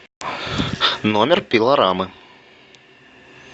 номер пилорамы